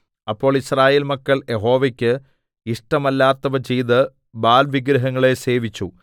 അപ്പോൾ യിസ്രായേൽ മക്കൾ യഹോവയ്ക്ക് ഇഷ്ടമല്ലാത്തവ ചെയ്ത് ബാല്‍ വിഗ്രഹങ്ങളെ സേവിച്ചു